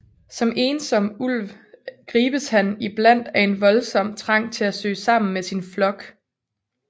Som ensom ulv gribes han iblandt af en voldsom trang til at søge sammen med sin flok